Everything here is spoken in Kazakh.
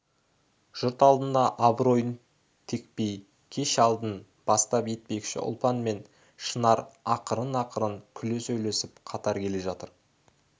жұрт алдында абыройын текпей кеш алдын бастап етпекші ұлпан мен шынар ақырын-ақырын күле сөйлесіп қатар келе жатыр